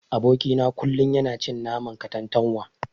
Aboki na kullun yana cin naman katantanwa.